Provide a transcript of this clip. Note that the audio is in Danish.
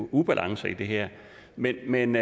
ubalancer i det her men men